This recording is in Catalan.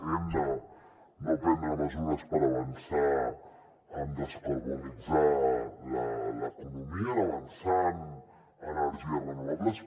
hem de prendre mesures per avançar en descarbonitzar l’economia per avançar en energies renovables